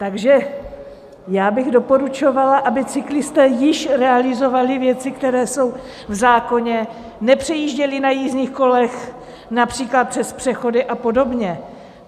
Takže já bych doporučovala, aby cyklisté již realizovali věci, které jsou v zákoně, nepřejížděli na jízdních kolech například přes přechody a podobně.